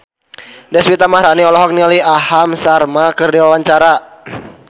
Deswita Maharani olohok ningali Aham Sharma keur diwawancara